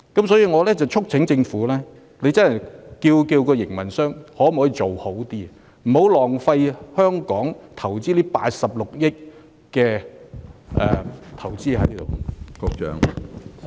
所以，我促請政府要求營運商作出改善，不要浪費香港投資在郵輪碼頭的82億元。